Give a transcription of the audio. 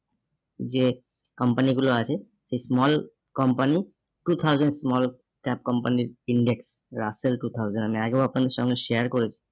যে company গুলো আছে সেই small company two thousand small tab company index russell two thousand আমি আগেও আপনাদের সঙ্গে share করেছি